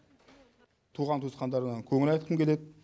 туған туысқандарына көңіл айтқым келеді